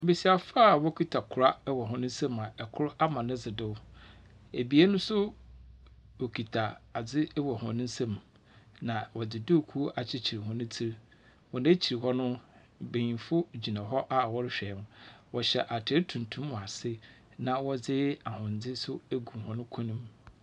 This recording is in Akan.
Mbasiafo a wokitsa kora wɔ hɔn nsamu a kor ama ne dze do, ebien no so wokitsa adze wɔ hɔn nsamu, na wɔdze duukuu akyekyer hɔn tsir. Hɔn ekyir hɔ no, mbanyin gyina hɔ a wɔrohwɛ, wɔhyɛ atar tuntum wɔ ase na wɔdze ahondze so egu hɔn kɔnmu.